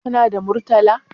Kana da Murtala?